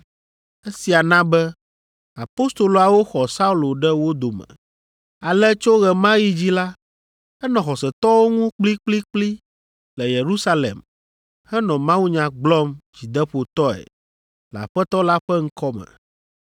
Esia na be apostoloawo xɔ Saulo ɖe wo dome. Ale tso ɣe ma ɣi dzi la, enɔ xɔsetɔwo ŋu kplikplikpli le Yerusalem henɔ mawunya gblɔm dzideƒotɔe le Aƒetɔ la ƒe ŋkɔ me.